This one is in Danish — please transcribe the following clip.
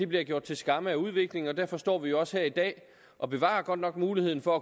blive gjort til skamme af udviklingen derfor står vi jo også her i dag og bevarer godt nok muligheden for